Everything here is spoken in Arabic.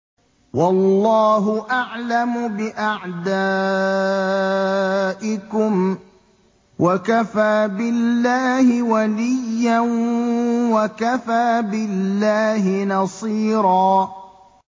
وَاللَّهُ أَعْلَمُ بِأَعْدَائِكُمْ ۚ وَكَفَىٰ بِاللَّهِ وَلِيًّا وَكَفَىٰ بِاللَّهِ نَصِيرًا